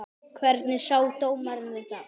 Hvernig sá dómarinn þetta?